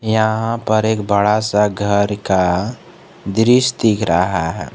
यहां पर एक बड़ा सा घर का दृश्य रहा है।